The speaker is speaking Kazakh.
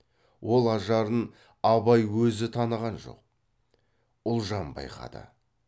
ол ажарын абай өзі таныған жоқ ұлжан байқады